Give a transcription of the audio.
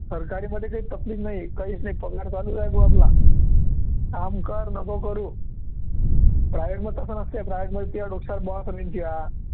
सरकारीमध्ये जे तकलीफ नाही, काहीच नाही पगार चालूच राहतो आपला काम कर, नको करु private मध्ये तसं नसतं private मध्ये तुझ्या डोसक्यावर boss असेल तुझ्या